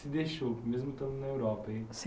Se deixou, mesmo estando na Europa, hein?